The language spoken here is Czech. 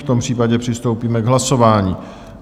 V tom případě přistoupíme k hlasování.